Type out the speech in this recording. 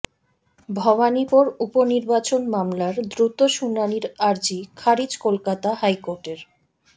ভবানীপুর উপনির্বাচন মামলার দ্রুত শুনানির আর্জি খারিজ কলকাতা হাইকোর্টের